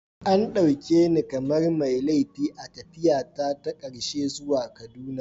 An dauke ni kamar mai laifi a tafiyata ta karshe zuwa Kaduna.